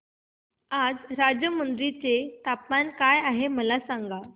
आज राजमुंद्री चे तापमान काय आहे मला सांगा